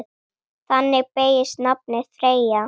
Þannig beygist nafnið Freyja